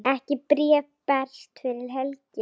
Ekkert bréf berst fyrir helgi.